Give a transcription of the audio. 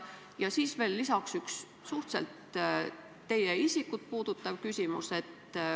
Ja lisaks veel üks teie isikut puudutav küsimus.